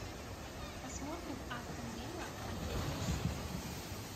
посмотрим астон вилла манчестер сити